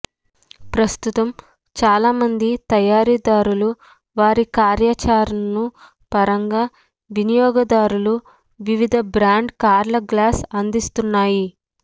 ప్రస్తుతం చాలా మంది తయారీదారులు వారి కార్యాచరణను పరంగా వినియోగదారులు వివిధ బ్రాండ్ల కార్ల గ్లాస్ అందిస్తున్నాయి